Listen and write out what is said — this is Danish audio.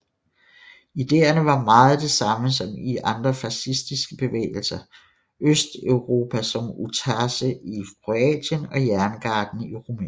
Idéerne var meget det samme som i de andre fascistiske bevægelser Østeuropa som Ustaše i Kroatien og Jerngarden i Rumænien